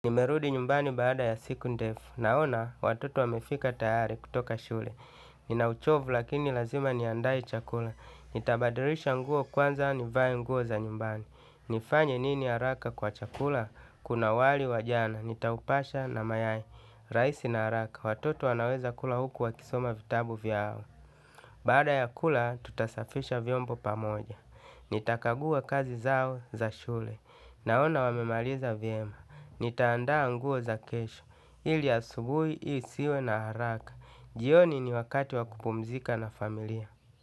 Nimerudi nyumbani baada ya siku ndefu, naona watoto wamefika tayari kutoka shule. Ninauchovu lakini lazima niandae chakula. Nitabadirisha nguo kwanza nivae nguo za nyumbani. Nifanye nini haraka kwa chakula? Kuna wali wajana, nitaupasha na mayai. Raisi na haraka, watoto wanaweza kula huku wa kisoma vitabu vyao. Bada ya kula, tutasafisha vyombo pamoja. Nitakagua kazi zao za shule. Naona wamemaliza vyema. Nitaandaa nguo za kesho ili asubuhi, hii siwe na haraka. Jioni ni wakati wa kupumzika na familia.